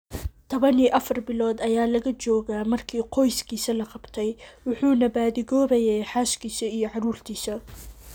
14 bilood ayaa laga joogaa markii qoyskiisa la qabtay, wuxuuna baadi goobayay xaaskiisa iyo caruurtiisa.